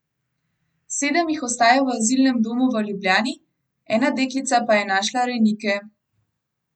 Sedem jih ostaja v azilnem domu v Ljubljani, ena deklica pa je našla rejnike.